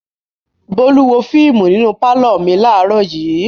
Bólú wo fíímù nínú pálọ̀ mi láàárọ̀ yìí.